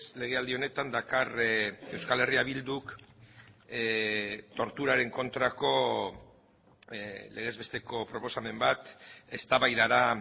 legealdi honetan dakar euskal herria bilduk torturaren kontrako legez besteko proposamen bat eztabaidara